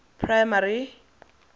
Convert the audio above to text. primary